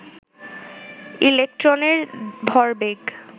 ইলেকট্রনের ভরবেগ